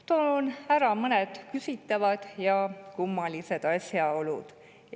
Toon ära mõned küsitavad ja kummalised asjaolud.